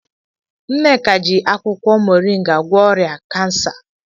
Nneka ji akwukwo mọrịnga gwọọ ọrịa kansa.